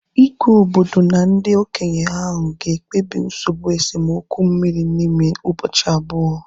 Igwe obodo na ndị okenye ahu ga ekpebi nsogbụ esemokwu mmiri n'ime ụbọchị abụọ